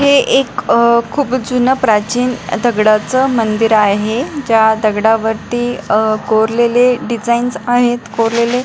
हे एक अह खुप जुन प्राचीन दगडाच मंदिर आहे ज्या दगडावरती अ कोरलेले डिझाइन्स आहेत कोरलेले--